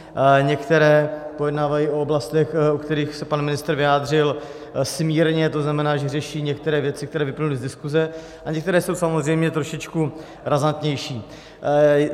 Některé pojednávají o oblastech, o kterých se pan ministr vyjádřil smírně, to znamená, že řeší některé věci, které vyplynuly z diskuse, a některé jsou samozřejmě trošičku razantnější.